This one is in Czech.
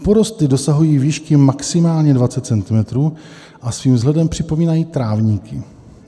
Porosty dosahují výšky maximálně 20 cm a svým vzhledem připomínají trávníky.